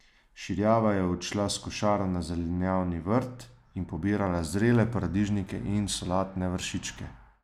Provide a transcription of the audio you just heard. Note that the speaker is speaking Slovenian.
Širjava je odšla s košaro na zelenjavni vrt in pobirala zrele paradižnike in solatne vršičke.